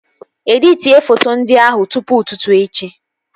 Editie foto ndị ahụ tụpụ ụtụtụ echi!